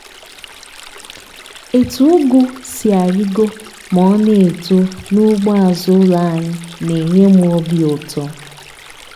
etu ụgụ si arigo ma ọ na-eto n'ugbo azụ ụlọ anyị na-enye m obi ụtọ.